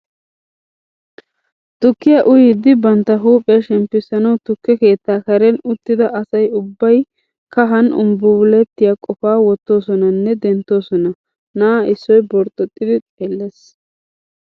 Tukkiya uyiiddi bantta huuphiya shemppissanawu tukke keettaa karen uttida asa ubbay kahan umbbumbulettiya qofaa wottoosona nne denttoosona. Na'a issoy borxxoxxidi xeellees.